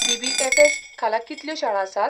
BBFS. खाला कितल्यो शाळा आसात?